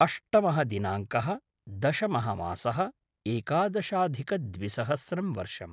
अष्टमः दिनाङ्कः-दशमः मासः-एकादशाधिकद्विसहस्रं वर्षम्